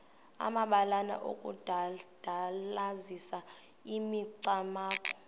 amabalana okudandalazisa imicamango